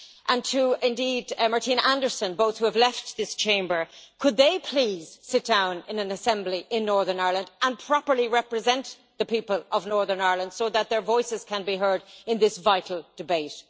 and indeed to Martina Anderson, both of whom have left this Chamber could they please sit down in an assembly in Northern Ireland and properly represent the people of Northern Ireland, so that their voices can be heard in this vital debate?